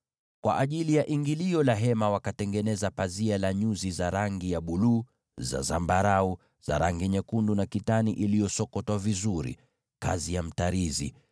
Kwa ajili ya ingilio la hema wakatengeneza pazia la nyuzi za rangi ya buluu, za zambarau, na za rangi nyekundu na kitani safi iliyosokotwa vizuri, kazi ya mtarizi.